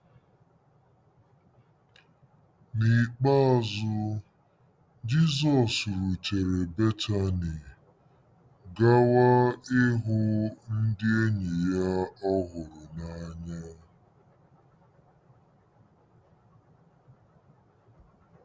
N’ikpeazụ,, Jizọs rutere Betani gawa ịhụ ndị enyi ya ọ hụrụ n’anya.